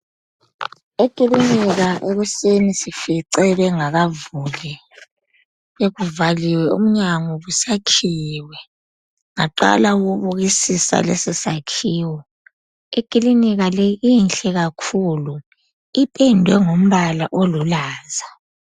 Ekilinika ekuseni sifice bengakavuli, bekuvaliwe umnyango kusakhiyiwe, baqala ukubukisisa lesi sakhiwo. Ekilinika le inhle kakhulu iphendwe ngombala olulaza.